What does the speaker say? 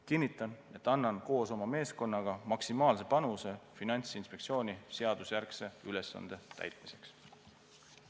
Kinnitan, et annan koos oma meeskonnaga maksimaalse panuse Finantsinspektsiooni seadusjärgse ülesande täitmiseks.